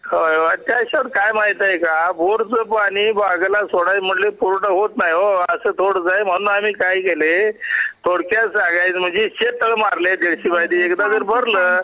होय होय त्याच काय माहित आहे का बोरच पाणी बागेला सोडल्या म्हणतात कि पूर्ण होत नाही ओ aअस थोडस आहे म्हणून आम्ही काय केलं थोडक्यात सांगायचं म्हणजे शेत तळ मारलंय डीडशे बाय डीड एकदा जर भरला